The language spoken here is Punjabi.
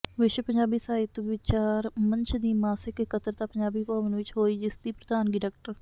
ਵਿਸ਼ਵ ਪੰਜਾਬੀ ਸਾਹਿਤ ਵਿਚਾਰ ਮੰਚ ਦੀ ਮਾਸਿਕ ਇਕੱਤਰਤਾ ਪੰਜਾਬੀ ਭਵਨ ਵਿੱਚ ਹੋਈ ਜਿਸਦੀ ਪ੍ਰਧਾਨਗੀ ਡਾ